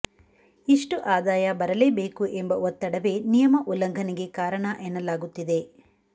ಇಷ್ಟು ಆದಾಯ ಬರಲೇಬೇಕು ಎಂಬ ಒತ್ತಡವೇ ನಿಯಮ ಉಲ್ಲಂಘನೆಗೆ ಕಾರಣ ಎನ್ನಲಾಗುತ್ತಿದೆ